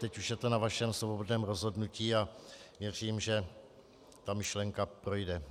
Teď už je to na vašem svobodném rozhodnutí a věřím, že ta myšlenka projde.